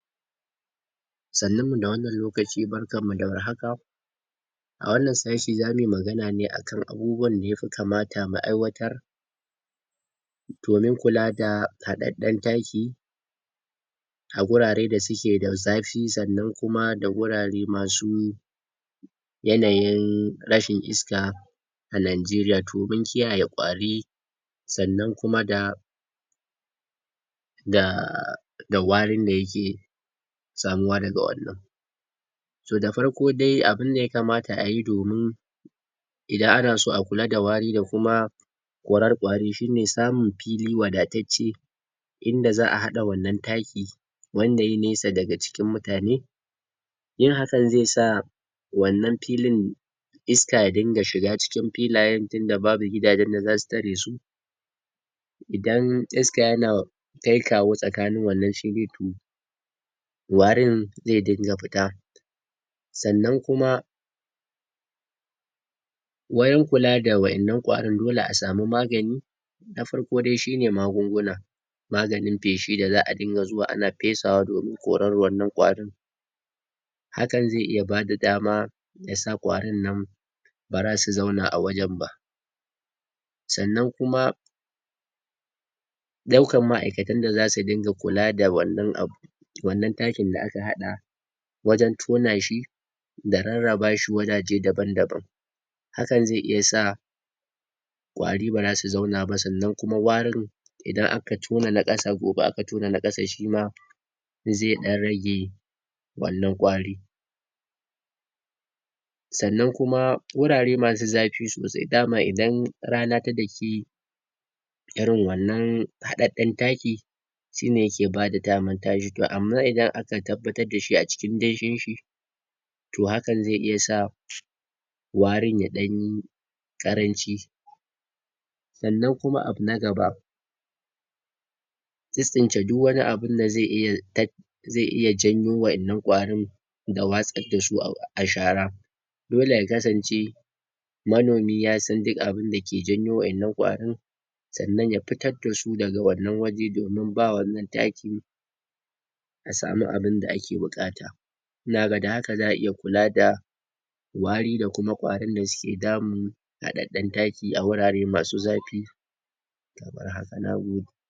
Sannimmu da wannan lokaci barkammu da warhaka! A wannan sashi zami magana ne akan abubuwan da ya fi kamata mu aiwatar domin kula da haɗaɗɗen taki a gurare da suke da zafi sannan kuma da gurare ma su yanayin rashin iska a Nanjeriya, toɓin kiyaye ƙwari sannan kuma da da da warin da yake samuwa daga wannan. So da farko de abinda yakamata ayi domin idan ana so a kula da wari da kuma korar ƙwari: Shine samun fili wadatacce inda za'a haɗa wannan taki wanda yai nesa daga cikin mutane, yin hakan ze sa wannan filin iska ya dinga shiga cikin filayen tinda babu gidajen da zasu tare su, idan iska yana kaikawo tsakanin wannan shi ze turo warin ze dinga fita, sannan kuma wayan kula da wa'innan ƙwarin dole a samu magani, nafarko dai shine magunguna maganin feshi da za'a dinga zuwa ana fesawa domin korar wannan ƙwarin, hakan ze iya bada dama da sa ƙwarinnan bara su zauna a wajen ba, sannan kuma ɗaukam ma'aikatan da za su dinga kula da wannan abu wannan takinda aka haɗa wajen tona shi da rarraba shi wajaje daban-daban, hakan ze iya sa ƙwari bara su zauna ba sannan kuma warin idan aka tona na ƙasa gobe aka tona na ƙasa shima ze ɗan rage wannan ƙwari, sannan kuma wurare masu zafi sosai dama idan rana ta daki irin wannan haɗaɗɗen taki, shine yake bada daman amman idan aka tabbatadda shi a cikin danshinshi to hakan ze iya sa warin ya ɗanyi ƙaranci, sannan kuma abu na gaba: Tsitstsince diwanni abunda ze iya tat ze iya janyo wa'yannan ƙwarin da watsaddasu a shara, dole ya kasance manomi ya san dik abinda ke janyi wa'innan ƙwarin, sannan ya fitaddasu daga wannan waje domin ba wannan takin a samu abinda ake buƙata, ina ga da haka za'a iya kula da wari da kuma ƙwarin da suke damun haɗaɗɗen taki a wurare masu zafi, to bari haka na gode.